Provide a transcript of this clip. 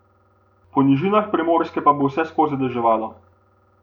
Po nižinah Primorske pa bo vseskozi deževalo.